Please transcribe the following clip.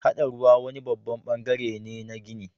Haɗa ruwa wani babban bangare ne na ginin.